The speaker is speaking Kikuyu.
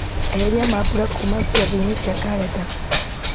eheria mambura kuma ciathĩ-inĩ cia karenda